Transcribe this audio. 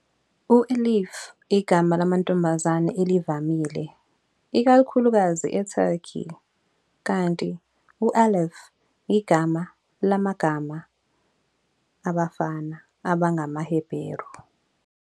U-Elif igama lamantombazane elivamile, ikakhulukazi eTurkey, kanti u-Aleph igama lamagama abafana abangamaHeberu.